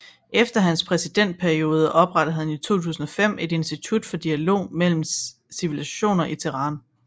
Efter hans præsidentperiode oprettede han i 2005 et institut for dialog mellem civilisationer i Teheran